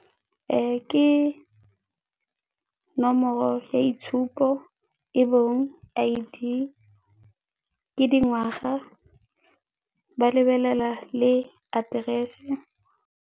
Ke nomoro ya itshupo e bong I_D, dingwaga, ba lebelela le aterese.